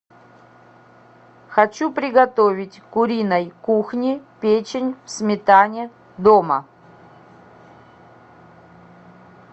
хочу приготовить куриной кухни печень в сметане дома